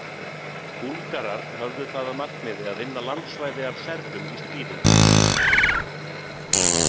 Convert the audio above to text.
Búlgarar höfðu það að markmiði að vinna landsvæði af Serbum í stríðinu.